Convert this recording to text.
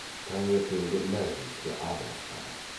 таңертеңгі мәжіліске араласпады